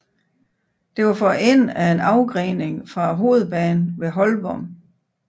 Det var for enden af en afgrening fra hovedbanen ved Holborn